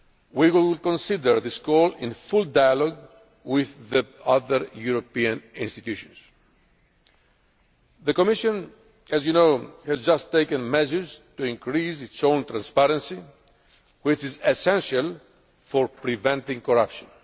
We will consider this request in full dialogue with the other European institutions. The Commission, as you know, has just taken measures to increase its own transparency, which is essential for preventing corruption.